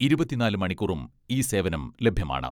ഇരുപത്തിനാല് മണിക്കൂറും ഈ സേവനം ലഭ്യമാണ്.